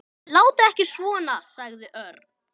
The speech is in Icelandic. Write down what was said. Látið ekki svona sagði Örn.